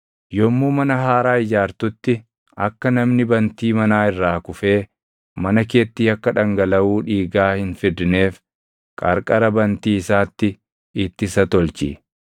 Yommuu mana haaraa ijaartutti akka namni bantii manaa irraa kufee mana keetti yakka dhangalaʼuu dhiigaa hin fidneef qarqara bantii isaatti ittisa tolchi.